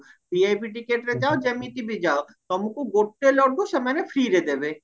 VIP ଟିକେଟରେ ଯାଅ ଯେମିତିବି ଯାଅ ତମକୁ ଗୋଟେ ଲଡୁ ସେମାନେ freeଏର ଦେବେ